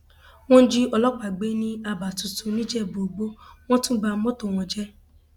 wọn jí ọlọpàá gbé ní aba tuntun nìjẹbúìgbò wọn tún ba mọtò wọn jẹ